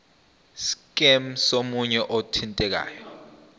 scheme somunye wabathintekayo